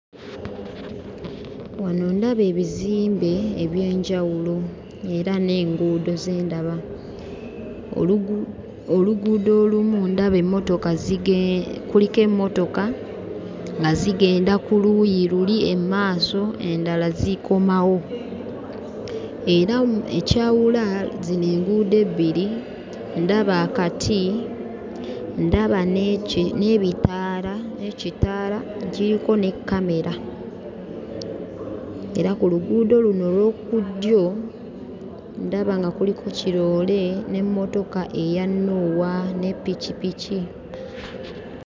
Wano ndaba ebizimbe eby'enjawulo era n'enguudo ze ndaba. Oluguudo olumu ndaba emmotoka zige kuliko emmotoka nga zigenda ku luuyi luli e maaso, endala zikomawo. Era ekyawula zino enguudo ebbiri ndaba akati, ndaba n'eki n'ebitaala n'ekitaala ekiriko ne kamera. Era ku luguudo luno olw'oku ddyo ndaba nga kuliko kiroole n'emmotoka eya 'Noah' ne pikipiki.